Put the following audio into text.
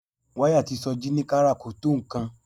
Wáyà tí Sọjí ní ká rà kò tó nǹkan